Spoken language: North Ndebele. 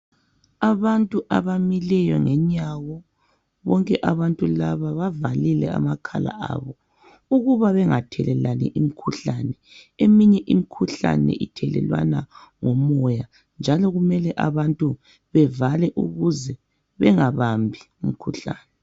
Abantu abamileyo ngenyawo . Bonke abantu laba bavalile amakhala abo ukuba bengathelelani imikhuhlane . Eminye imikhuhlane ithelelwana ngomoya njalo kumele abantu bevale ukuze bengabambi imikhuhlane.